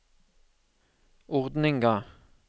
ordninga